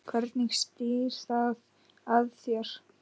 Hvernig snýr það að þér?